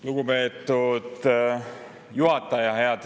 Lugupeetud juhataja!